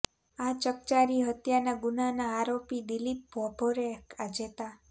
આ ચકચારી હત્યાના ગુન્હાના આરોપી દિલીપ ભાભોરે આજે તા